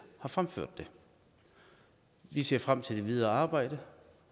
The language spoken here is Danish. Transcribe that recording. har fremsat dem vi ser frem til det videre arbejde